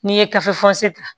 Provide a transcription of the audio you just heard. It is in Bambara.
N'i ye gafe fɔrsi ta